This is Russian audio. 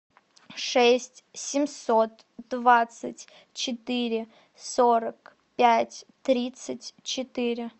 шесть семьсот двадцать четыре сорок пять тридцать четыре